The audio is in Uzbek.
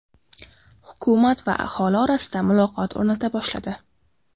Hukumat va aholi orasida muloqot o‘rnata boshladi.